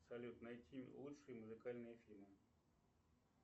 салют найти лучшие музыкальные фильмы